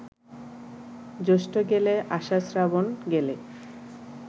জ্যৈষ্ঠ গেলে, আষাঢ়, শ্রাবণ গেলে